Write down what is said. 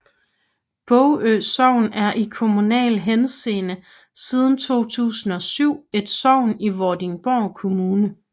Bogø Sogn er i kommunal henseende siden 2007 et sogn i Vordingborg Kommune